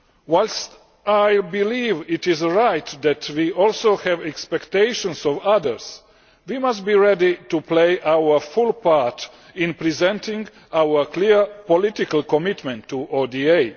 Whilst I believe it is right that we also have expectations of others, we must be ready to play our full part in presenting our clear political commitment to ODA.